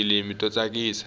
tifilimi to tsakisa